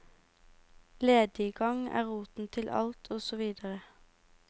Lediggang er roten til alt og så videre.